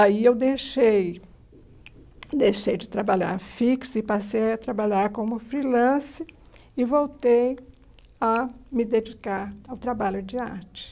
Aí eu deixei deixei de trabalhar fixa e passei a trabalhar como freelancer e voltei a me dedicar ao trabalho de arte.